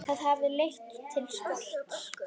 Það hafi leitt til skorts.